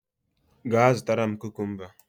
Gaa zụtara m kukumba!